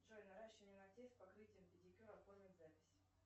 джой наращивание ногтей с покрытием педикюр оформить запись